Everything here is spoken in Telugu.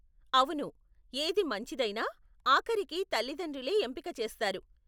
అవును, ఏది మంచిదైనా, ఆఖరికి తల్లితండ్రులే ఎంపిక చేస్తారు.